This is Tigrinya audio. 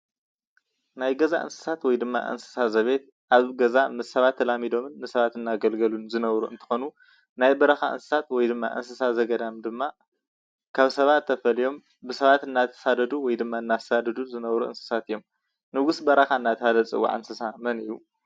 ናይ ገዛ እንስሳት ወይ ድማ እንስሳ ዘቤት ኣብ ገዛ ምስ ሰባት ተላሚዶም ን ንሰባት እናገልገሉን ዝነብሩ እንትኮኑ ናይ በረካ እንስሳ ወይ ዳማ እንስሳ ዘገዳም ድማ ካብ ሰባት ተፈልዮም ብሰባት እናተሳደዱ ወይድማ እናሳደዱ ዝነብሩ እንስሳት እዮም። ንጉስ በረካ ዳ ተብሃለ ዝፅዋዕ እንስሳ መን እዩ?